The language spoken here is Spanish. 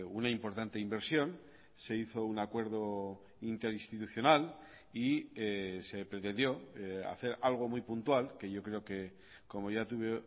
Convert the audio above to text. una importante inversión se hizo un acuerdo interinstitucional y se pretendió hacer algo muy puntual que yo creo que como ya tuve